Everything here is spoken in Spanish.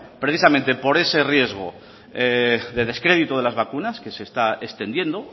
precisamente por ese riesgo de descrédito de las vacunas que se está extendiendo